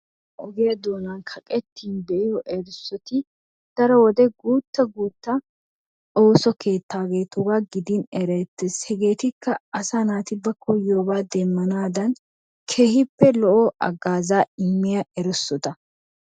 ogiya doonan kaqettin be'iyo erissoti daro wode gutta guutta oosso keettaageetugaa gidin erettees. Hegeetikka asaa naati bantta koyobata demanaadan keehippe lo'o hagaazzaa immiya erisota.